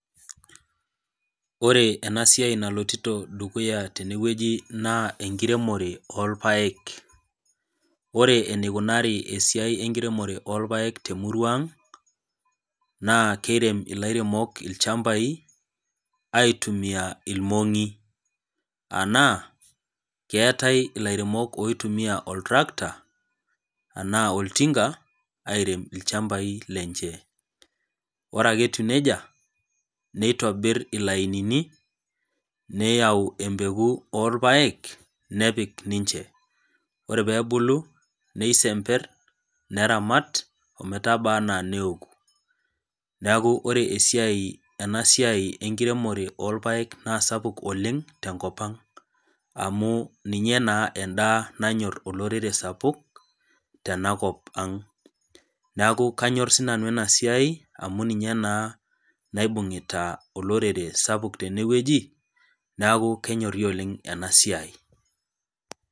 Ore enasiai naloito dukuya tenewueji na enkiremore orpaek ore enikunari esiai enkiremore orpaek temuruaang na kirem lairemok ilchambai aitumia irmonyi anaa keetae ilaremok oitumia oltarakita anaa oltinga airemi lchambai lenye ore ake etiu nejia nitobir ilaininibneyau embeku nepik ninche ore pebulu nisember neramat ometaabaa ana neoku neaku ore enasiai enkiremore orpaek na sapuk oleng tenkopang amu ninye na emdaa nanyor olorere sapuk tenakop aang neaku kanyor sinanu enasiai amu ninye naibungita olorere sapuk tenewueji neaku kenyori oleng enasiai.